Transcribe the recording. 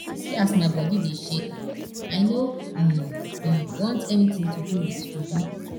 see as my body dey shake i no um um want anything to do with juju